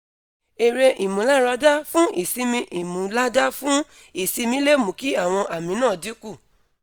ere imularada fun isimi imulada fun isimi le mu ki awon ami na dinku